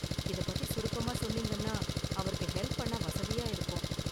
இதைப் பத்தி சுருக்கமா சொன்னீங்கன்னா அவருக்கு ஹெல்ப் பண்ண வசதியா இருக்கும்.